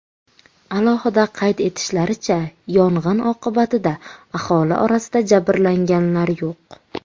Alohida qayd etishlaricha, yong‘in oqibatida aholi orasida jabrlanganlar yo‘q.